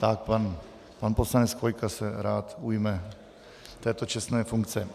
Tak pan poslanec Chvojka se rád ujme této čestné funkce.